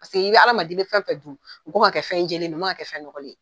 Paseke i hadamaden i bɛ fɛn fɛn dun, o k'an ka kɛ fɛn jɛlɛn de ye, o ma kan ka kɛ fɛn ɲɔgɔlen ye.